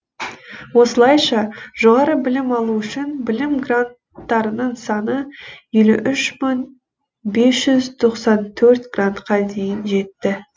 осылайша жоғары білім алу үшін білім гранттарының саны елу үш мың бес жүз тоқсан төрт грантқа дейін жетті